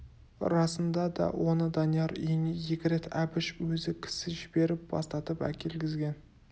расында да оны данияр үйіне екі рет әбіш өзі кісі жіберіп бастатып әкелгізген